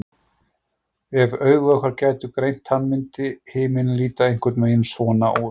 Ef augu okkar gætu greint hann myndi himinninn líta einhvern veginn svona út.